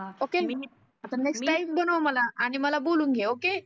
okay आता next time बनव मला आणि मला बोलावून घे ओके